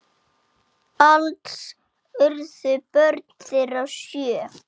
Alls urðu börn þeirra sjö.